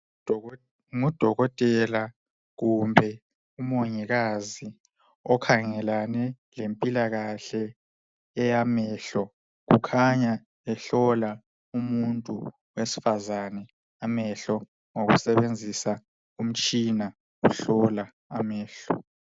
Ngudokotela kumbe umongikazi okhangelane lempilakahle eyamehlo , kukhanya ehlola umuntu wesifazane amehlo ngokusebenzisa umtshina ohlola amehlo